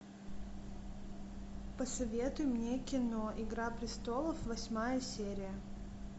посоветуй мне кино игра престолов восьмая серия